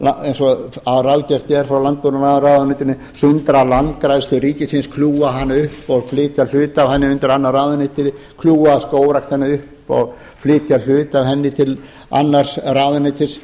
eins og ráðgert er frá landbúnaðarráðuneytinu sundra landgræðslu ríkisins kljúfa hana upp og flytja hluta af henni undir annað ráðuneyti kljúfa skógræktina upp og flytja hluta af henni til annars ráðuneytis